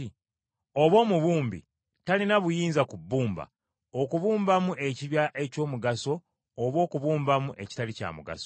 Oba omubumbi talina buyinza ku bbumba, okubumbamu ekibya eky’omugaso, oba okubumbamu ekitali kya mugaso?